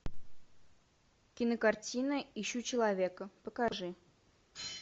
кинокартина ищу человека покажи